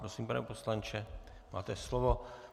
Prosím, pane poslanče, máte slovo.